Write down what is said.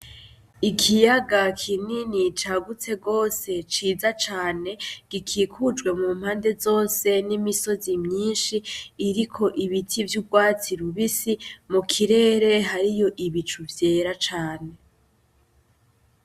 Ikiyaga kinini cagutse gose ciza cane gikikujwe mumpande zose n'imisozi myinshi iriko ibiti vy'ugwatsi rubisi mu kirere hariyo ibicu vyera cane